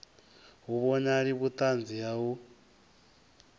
hu vhonali vhuṱanzi ha u